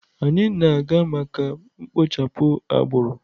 Anyị na-aga maka mkpochapụ agbụrụ.